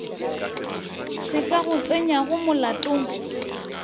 se ka go tsenyago molatong